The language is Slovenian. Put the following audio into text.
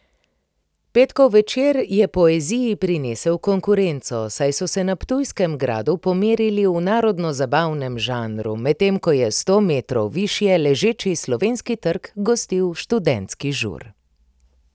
Petkov večer je poeziji prinesel konkurenco, saj so se na ptujskem gradu pomerili v narodnozabavnem žanru, medtem ko je sto metrov višje ležeči Slovenski trg gostil študentski žur.